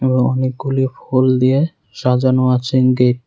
এবং অনেকগুলি ফুল দিয়ে সাজানো আছে গেট ।